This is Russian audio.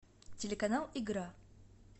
телеканал игра